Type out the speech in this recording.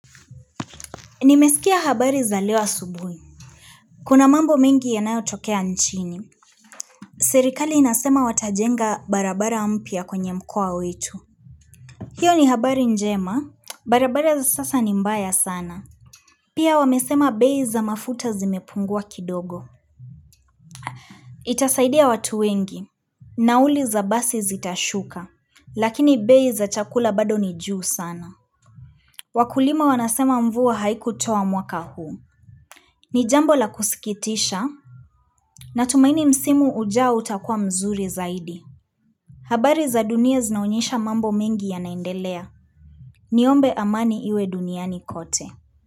Nimesikia habari za leo asubuhi. Kuna mambo mingi yanayotokea nchini. Serikali inasema watajenga barabara mpya kwenye mkoa wetu. Hiyo ni habari njema. Barabara za sasa ni mbaya sana. Pia wamesema bei za mafuta zimepungua kidogo. Itasaidia watu wengi. Nauli za basi zitashuka. Lakini bei za chakula bado ni juu sana. Wakulima wanasema mvua haikutoa mwaka huu. Ni jambo la kusikitisha. Natumaini msimu ujao utakuwa mzuri zaidi. Habari za dunia zinaonyesha mambo mengi yanaendelea. Niombe amani iwe duniani kote.